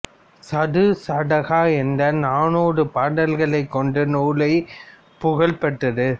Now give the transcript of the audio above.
சதுசடகா என்ற நானூறு பாடல்களைக் கொண்ட நூலே புகழ் பெற்றது